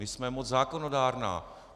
My jsme moc zákonodárná.